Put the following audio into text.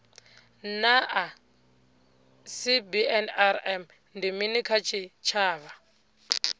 naa cbnrm ndi mini kha tshitshavha